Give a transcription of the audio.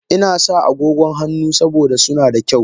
Ina sa agogon hannu saboda suna da kyau.